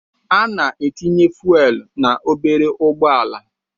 Ana etinye fuelu na obere ụgbọala.